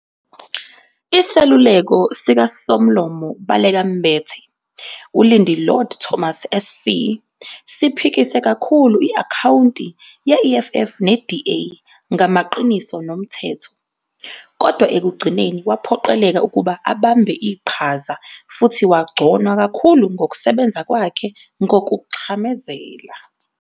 Iseluleko sikaSomlomo Baleka Mbete, uLindi Lord-Thomas SC, siphikise kakhulu i-akhawunti ye-EFF ne-DA ngamaqiniso nomthetho, kodwa ekugcineni waphoqeleka ukuba abambe iqhaza futhi wagconwa kakhulu ngokusebenza kwakhe "ngokuxhamazela".